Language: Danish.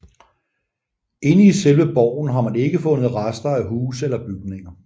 Inde i selve borgen har man ikke fundet rester af huse eller bygninger